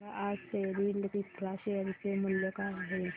सांगा आज Soril Infra share चे मूल्य काय आहे